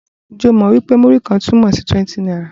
Ǹjẹ́ o mọ̀ wí pé Múrí-kan túmọ̀ sí 20 náírà?